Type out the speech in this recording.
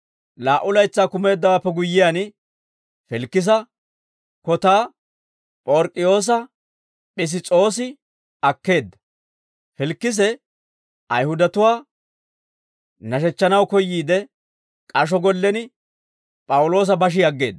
Laa"u laytsaa kumeeddawaappe guyyiyaan, Filikisa kotaa P'ork'k'iyoosa Piss's'oosi akkeedda. Filikise Ayihudatuwaa nashechchanaw koyyiide, k'asho gollen P'awuloosa bashi aggeedda.